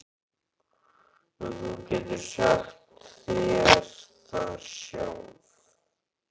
Nú, þú getur sagt þér það sjálf.